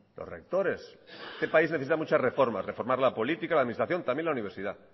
los rectores este país necesita muchas reformas reformar la política la administración también la universidad